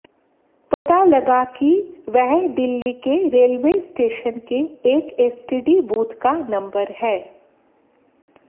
पता लगा कि वह दिल्ली के रेलवे स्टेशन के एक एसटीडी बूथ का नम्बर है